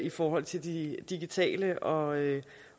i forhold til de digitale og